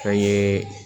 Fɛn ye